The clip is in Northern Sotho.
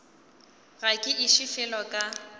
ga ke iše felo ka